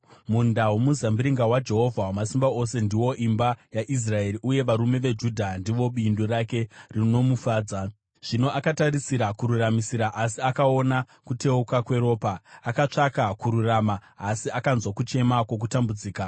Munda womuzambiringa waJehovha Wamasimba Ose ndiwo imba yaIsraeri, uye varume veJudha ndivo bindu rake rinomufadza. Zvino akatarisira kururamisira asi akaona kuteuka kweropa; akatsvaka kururuma, asi akanzwa kuchema kwokutambudzika.